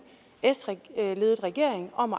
s ledet regering om